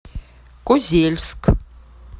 козельск